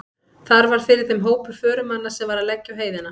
Þar varð fyrir þeim hópur förumanna sem var að leggja á heiðina.